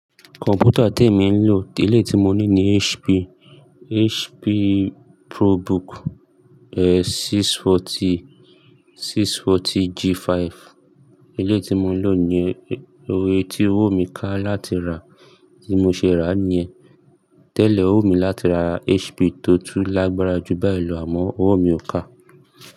Kọ̀m̀pútà tí èmi ń lò, tí èléyìí ti mo ní ni HP, HP ProBook 640, 640 G5. Eléyìí tí mo ń lò ni yẹn, tí owó mi ká láti rà, tí mo ṣe rà nìyẹn. Tẹ́lẹ̀ ó wùn mi láti ra HP tó tún lágbára jù báyìí lọ àmọ́ owó mi ò ká.